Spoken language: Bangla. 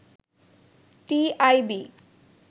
টিআইবি